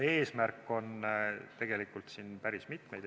Eesmärke on siin päris mitmeid.